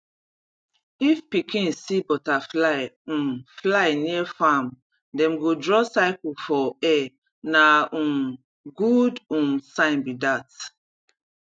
if pikin see butterfly um fly near farm dem go draw circle for air na um good um sign be that